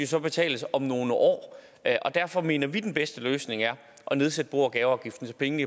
så betales om nogle år derfor mener vi at den bedste løsning er at nedsætte bo og gaveafgiften så pengene